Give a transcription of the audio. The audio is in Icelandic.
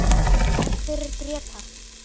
Gott mál eða?